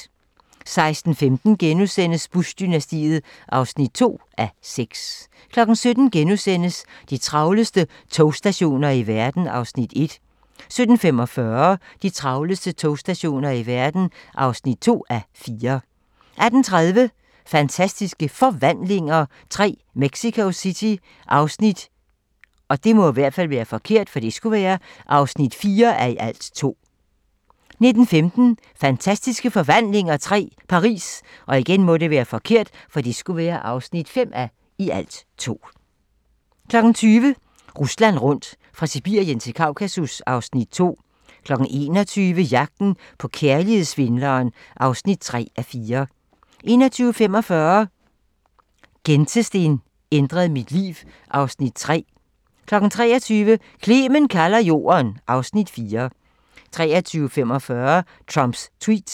16:15: Bush-dynastiet (2:6)* 17:00: De travleste togstationer i verden (1:4)* 17:45: De travleste togstationer i verden (2:4) 18:30: Fantastiske Forvandlinger III - Mexico City (4:2) 19:15: Fantastiske Forvandlinger III - Paris (5:2) 20:00: Rusland rundt - fra Sibirien til Kaukasus (Afs. 2) 21:00: Jagten på kærlighedssvindleren (3:4) 21:45: Gentesten ændrede mit liv (Afs. 3) 23:00: Clement kalder Jorden (Afs. 4) 23:45: Trumps tweets